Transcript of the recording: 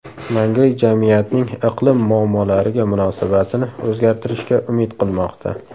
Mangay jamiyatning iqlim muammolariga munosabatini o‘zgartirishga umid qilmoqda.